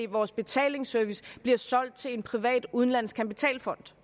vores betalingsservice bliver solgt til en privat udenlandsk kapitalfond